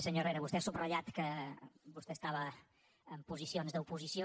senyor herrera vostè ha subratllat que vostè estava en posicions d’oposició